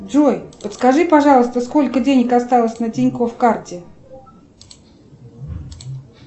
джой подскажи пожалуйста сколько денег осталось на тинькофф карте